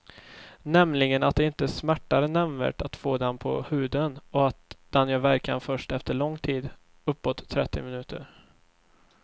Nämligen att det inte smärtar nämnvärt att få den på huden och att den gör verkan först efter lång tid, uppåt trettio minuter.